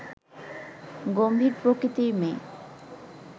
গম্ভীর প্রকৃতির মেয়ে